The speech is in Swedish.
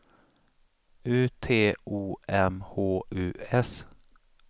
U T O M H U S